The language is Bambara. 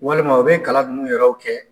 Walima u be kalan nunnu yɛrɛw kɛ